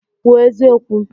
Kwuo eziokwu!